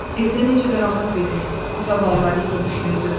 Evdə necə də rahat idi, zavallı Alisa düşündü.